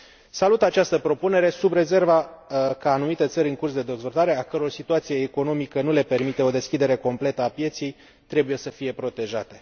Salut această propunere, sub rezerva că anumite țări în curs de dezvoltare, a căror situație economică nu le permite o deschidere completă a pieței, trebuie să fie protejate.